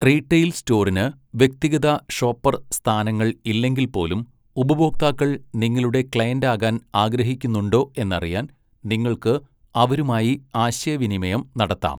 Retail സ്റ്റോറിന് വ്യക്തിഗത shopper സ്ഥാനങ്ങൾ ഇല്ലെങ്കിൽപ്പോലും, ഉപഭോക്താക്കൾ നിങ്ങളുടെ ക്ലെയിന്റാകാൻ ആഗ്രഹിക്കുന്നുണ്ടോ, എന്നറിയാൻ നിങ്ങൾക്ക് അവരുമായി ആശയവിനിമയം നടത്താം.